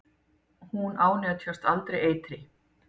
Hún ánetjast aldrei eitri.